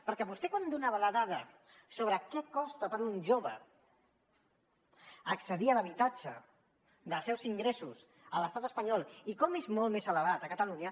perquè vostè quan donava la dada sobre què costa per un jove accedir a l’habitatge dels seus ingressos a l’estat espanyol i com és molt més elevat a catalunya